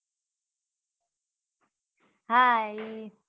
હા ઈ